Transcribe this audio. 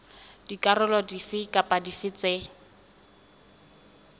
dikarolo dife kapa dife tse